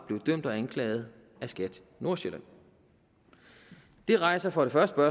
anklaget af skat nordsjælland det rejser for det første